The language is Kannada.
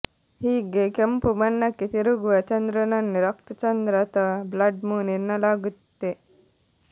ಹೀಗೆ ಕೆಂಪು ಬಣ್ಣಕ್ಕೆ ತಿರುಗುವ ಚಂದ್ರನನ್ನೇ ರಕ್ತ ಚಂದ್ರ ಅಥವಾ ಬ್ಲಡ್ ಮೂನ್ ಎನ್ನಲಾಗುತ್ತೆ